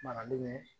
Maralen